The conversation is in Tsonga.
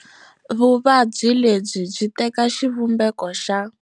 Vuvabyi lebyi byi teka xivumbeko xa.